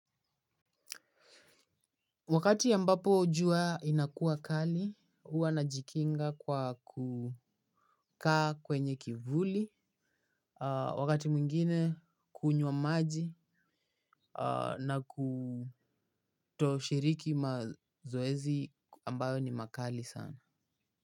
Wakati ambapo jua inakuwa kali, huwa najikinga kwa kukaa kwenye kivuli, wakati mwingine kunywa maji na kutoshiriki mazoezi ambayo ni makali sana.